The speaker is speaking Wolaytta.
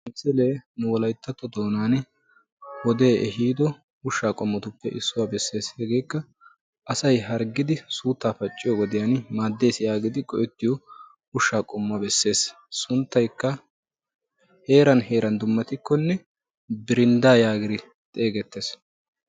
misilee wolayittatto doonan wodee ehido ushshaa qommotuppe issuwa besses. hegeekka asy harggidi suuttaa pacciyo wodiyan maaddes yaagidi go'ettiyo ushshaa qommuwa besses. sunttayikka heeran heeran dummatikkonne birinddaa yaagidi xeegettes.